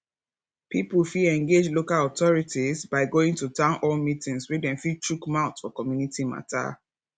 pipo fit engage local authorities by going to town hall meetings where dem fit chook mouth for community matter